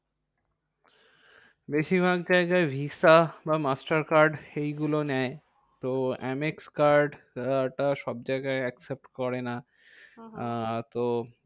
বেশির ভাগ জায়গায় visa বা master card এই গুলো নেয়। তো এম এক্স card টা সব জায়গায় accept করে না। আহ তো